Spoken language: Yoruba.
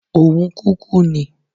Òun kúkú ni.